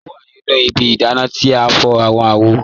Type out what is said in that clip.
O wa nínu ìbí ìdánà tí n fọ̀ awọn àwò.